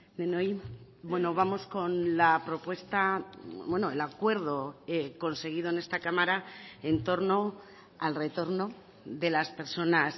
denoi bueno vamos con la propuesta el acuerdo conseguido en esta cámara en torno al retorno de las personas